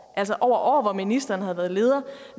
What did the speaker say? altså over år hvor ministeren havde været leder